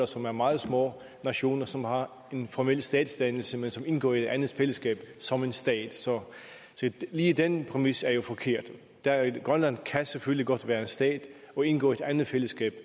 som er meget små nationer som har en formel statsdannelse men som indgår i et andet fællesskab som en stat så lige den præmis er jo forkert grønland kan selvfølgelig godt være en stat og indgå i et andet fællesskab